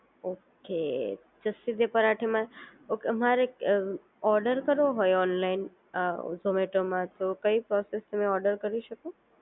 Okay Jassi De Parathe મા. Okay મારે order કરવો હોય ઓનલાઇન ઝૉમેટોમાં તો કંઈ પ્રોસેસથી ઓર્ડર કરી શકું